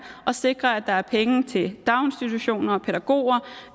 og sikre at der er penge til daginstitutioner og pædagoger